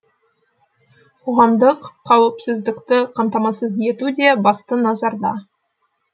қоғамдық қауіпсіздікті қамтамасыз ету де басты назарда